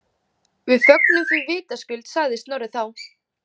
Við fögnum því vitaskuld, sagði Snorri þá.